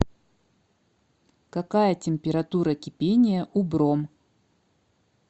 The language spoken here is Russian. какая температура кипения у бром